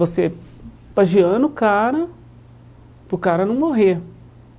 Você pajeando o cara, para o cara não morrer.